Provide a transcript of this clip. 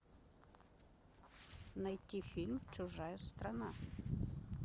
найти фильм чужая страна